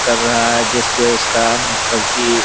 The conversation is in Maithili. कर रहा है जैसे उसका उ मतलब की --